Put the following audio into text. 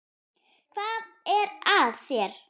Hvað er að þér?